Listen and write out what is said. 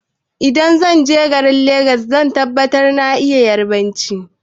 Idan zanje garin legas zan tabbata na iya yarbanci